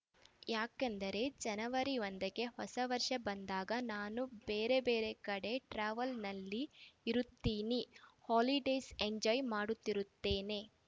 ಯಾಕೆಂದರೆ ಜನವರಿ ಒಂದಕ್ಕೆ ಹೊಸ ವರ್ಷ ಬಂದಾಗ ನಾನು ಬೇರೆ ಬೇರೆ ಕಡೆ ಟ್ರಾವೆಲ್‌ನಲ್ಲಿ ಇರುತ್ತೀನಿ ಹಾಲಿಡೇಸ್‌ ಎಂಜಾಯ್‌ ಮಾಡುತ್ತಿರುತ್ತೇನೆ